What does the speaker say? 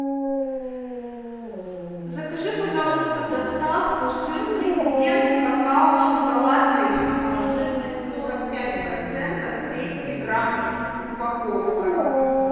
закажи пожалуйста доставку сыр президент с какао шоколадный жирность сорок пять процентов двести грамм упаковка